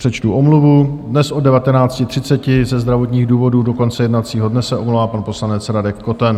Přečtu omluvu: dnes od 19.30 ze zdravotních důvodů do konce jednacího dne se omlouvá pan poslanec Radek Koten.